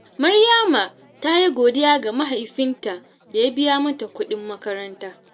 Maryama ta yi godiya ga mahaifinta da ya biya mata kuɗin makaranta.